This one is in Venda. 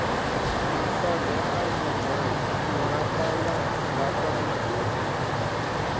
masaga a mugayo nngafhaḽangafhaḽa i